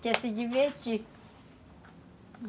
Que é se divertir.